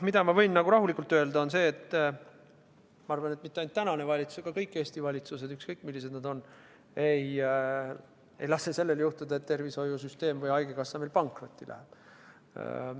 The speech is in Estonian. Mida ma võin aga rahulikult öelda, on see, et ma arvan, et mitte ainult tänane valitsus, vaid mitte ükski Eesti valitsus, ükskõik milline see on, ei lase juhtuda sellel, et tervishoiusüsteem või haigekassa pankrotti läheb.